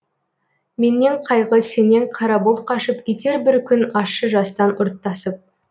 менен қайғы сенен қара бұлт қашып кетер бір күн ащы жастан ұрттасып